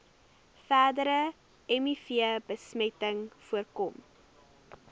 verdere mivbesmetting voorkom